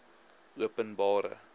openbare